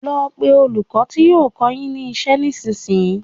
Lọ pé olùkọ́ ti yóò kọ́ọ yín ní iṣẹ́ ní ìsinsìnyí!